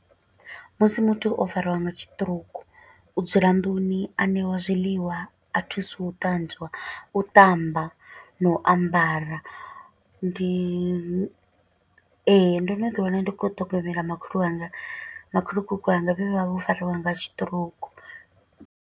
Musi muthu o fariwa nga siṱirouku, u dzula nḓuni, a ṋeiwa zwiḽiwa, a thusa u ṱanzwa, u ṱamba na u ambara. Ndi, ee, ndo no ḓi wana ndi khou ṱhogomela makhulu wanga, makhulukuku wanga vha vho fariwa nga siṱirouku.